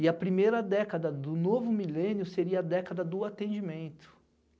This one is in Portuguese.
E a primeira década do novo milênio seria a década do atendimento.